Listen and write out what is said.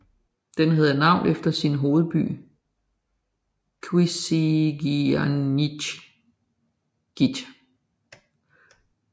Den havde navn efter sin hovedby Qasigiannguit